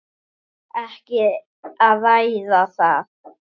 Ekki að ræða það!